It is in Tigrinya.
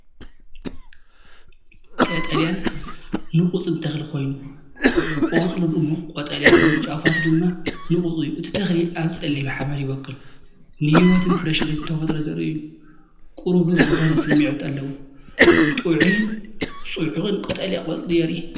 ቀጠልያን ንቑጽን ተኽሊ ኮይኑ፡ ቆጽሉ ድሙቕ ቀጠልያ ኮይኑ ጫፋቱ ድማ ንቑጽ እዩ። እቲ ተኽሊ ኣብ ጸሊም ሓመድ ይበቁል። ንህይወትን ፍረሽነትን ተፈጥሮ ዘርኢ እዩ፤ ቁሩብ ዱር ዝኾነ ስምዒት ኣለዎ። ጥዑይን ጽዑቕን ቀጠልያ ቆጽሊ የርኢ።